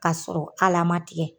Kasɔrɔ al'a ma tigɛ